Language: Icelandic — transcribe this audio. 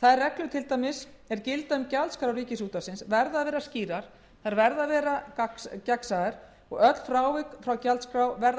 þær reglur til dæmis er gilda um gjaldskrá rúv verða að vera skýrar og gagnsæjar og öll frávik frá gjaldskrá verða að